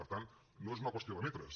per tant no és una qüestió de metres